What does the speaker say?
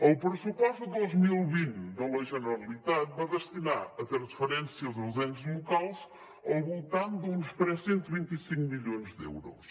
el pressupost de dos mil vint de la generalitat va destinar a transferències als ens locals al voltant d’uns tres cents i vint cinc milions d’euros